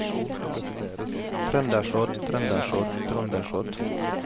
trøndersodd trøndersodd trøndersodd